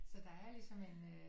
Så der er ligesom en øh